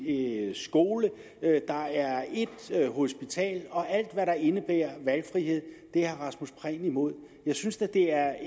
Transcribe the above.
én skole og ét hospital alt hvad der indebærer valgfrihed er herre rasmus prehn imod og jeg synes da det er